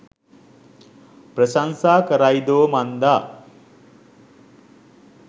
ප්‍රශංසා කරයිදෝ මන්දා.